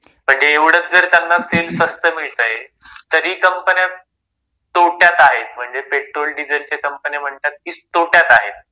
म्हणजे एवढचं जर त्यांना तेल स्वस्त मिळतंय, तरी कंपन्या तोट्यात आहेत. म्हणजे पेट्रोल डिझेलच्या कंपन्या म्हणतात कि तोट्यात आहेत.